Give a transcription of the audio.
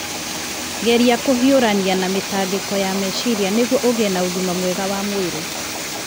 Geria kũhiũrania na mĩtangĩko ya meciria nĩguo ũgĩe na ũgima mwega wa mwĩrĩ.